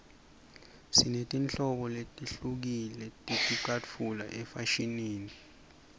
sinetinhlobo letihlukile teticatfulo efashinini